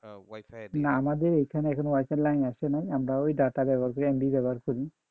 না আমাদের এখানে এখনও wi-fi এর লাইন আসে নাই আমরা ওই data ব্যাবহার করি MB ব্যাবহার করি।